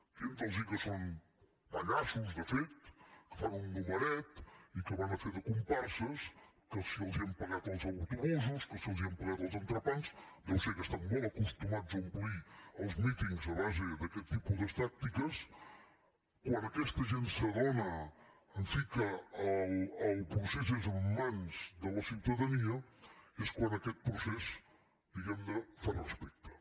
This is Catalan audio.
dient los que són pallassos de fet que fan un numeret i que van a fer de comparses que si els hem pagat els autobusos que si els hem pagat els entrepans deu ser que estan molt acostumats a omplir els mítings a base d’aquest tipus de tàctiques quan aquesta gent s’adona en fi que el procés és en mans de la ciutadania és quan aquest procés diguem ne fa respecte